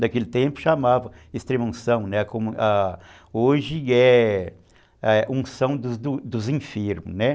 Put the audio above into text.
Naquele tempo chamava extrema unção, né, como hoje é unção dos dos enfermos, né.